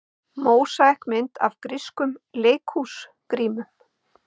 Mósaíkmynd af grískum leikhúsgrímum.